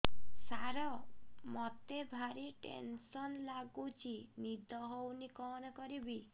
ସାର ମତେ ଭାରି ଟେନ୍ସନ୍ ଲାଗୁଚି ନିଦ ହଉନି କଣ କରିବି